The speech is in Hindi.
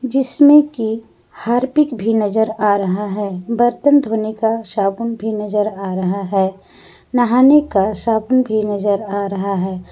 जिसमें की हार्पिक भी नजर आ रहा है बर्तन धोने का साबुन भी नजर आ रहा है नहाने का साबुन भी नजर आ रहा है।